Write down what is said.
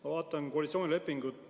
Ma vaatan koalitsioonilepingut.